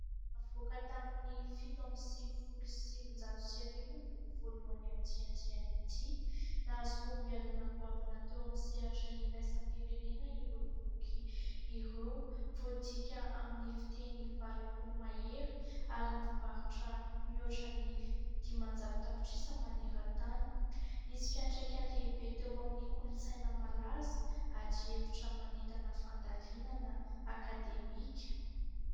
avoaka tamin'ny fito amby sivifolo sy sivin-jato sy arivo ny boky voalohany amin'ity andiany ity, nahazo fahombiazana goavana teo amin'ny sehatra iraisam-pirenena ireo boky ireo, voadika amin'ny fiteny valopolo mahery ary mivarotra mihoatra ny dimanjato tapitrisa maneran-tany, nisy fiantraikany lehibe teo amin'ny kolontsaina malaza ; ady hevitra manentana fandalinana akademika